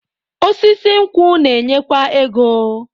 Osisi nkwụ na-enyekwa ego.